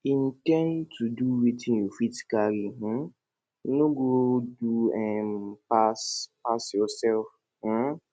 in ten d to do wetin you fit carry um no go do um pass pass yourself um